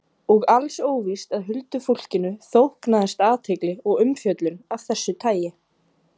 Og alls óvíst að huldufólkinu þóknaðist athygli og umfjöllun af þessu tagi.